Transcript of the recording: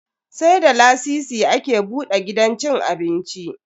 Sai da lasisi ake buda gidan cin abinci.